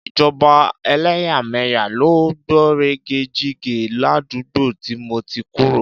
Ìjọba ẹlẹ́yàmẹ̀yà ló gbọ̀nrẹ̀gẹ̀jigẹ̀ ládùúgbò tí mo ti kúrò.